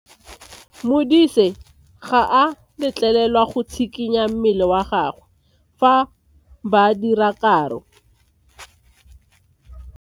Modise ga a letlelelwa go tshikinya mmele wa gagwe fa ba dira karo.